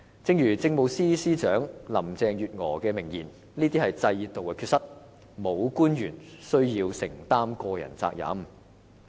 正如政務司司長林鄭月娥的名言，"這是制度的缺失，沒有官員需要承擔個人責任。